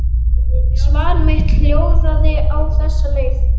Svar mitt hljóðaði á þessa leið